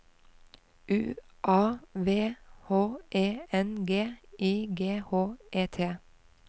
U A V H E N G I G H E T